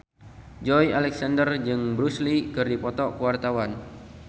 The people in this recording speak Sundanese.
Joey Alexander jeung Bruce Lee keur dipoto ku wartawan